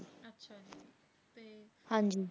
ਹਾਂਜੀ।